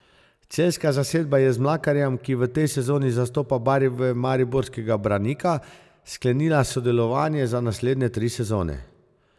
Celjska zasedba je z Mlakarjem, ki v tej sezoni zastopa barve mariborskega Branika, sklenila sodelovanje za naslednje tri sezone.